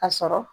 A sɔrɔ